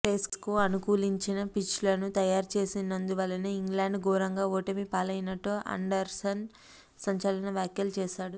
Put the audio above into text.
పేస్కు అనుకూలించిన పిచ్లను తయారు చేసినందువల్లే ఇంగ్లాండ్ ఘోరంగా ఓటమి పాలైనట్లు ఆండర్సన్ సంచలన వ్యాఖ్యలు చేశాడు